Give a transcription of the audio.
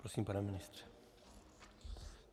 Prosím, pane ministře.